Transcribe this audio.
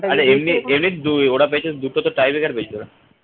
আরে এমনি এমনি ওরা পেয়েছে দুটোতে tie breaker পেয়েছে ওরা